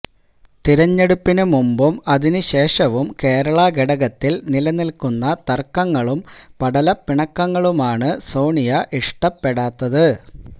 തെരഞ്ഞെടുപ്പിന് മുമ്പും അതിനുശേഷവും കേരളഘടകത്തില് നിലനില്ക്കുന്ന തര്ക്കങ്ങളും പടലപ്പിണക്കങ്ങളുമാണ് സോണിയ് ഇഷ്ടപെടാത്തത്